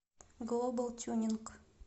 глобал тюнинг